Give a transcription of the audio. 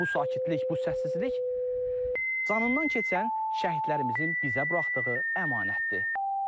Bu sakitlik, bu səssizlik canından keçən şəhidlərimizin bizə buraxdığı əmanətdir.